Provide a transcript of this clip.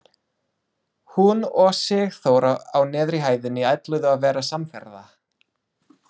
Hún og Sigþóra á neðri hæðinni ætluðu að vera samferða.